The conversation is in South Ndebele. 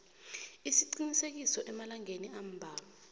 isiqinisekiso emalangeni ambalwa